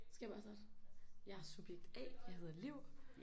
Skal jeg bare starte? Jeg er subjekt A jeg hedder Liv